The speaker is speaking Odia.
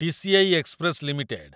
TCI express limited